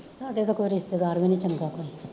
ਸਾਡੇ ਤਾਂ ਕੋਈ ਰਿਸਤੇਦਾਰ ਵੀ ਨੀ ਚੰਗਾ ਕੋਈ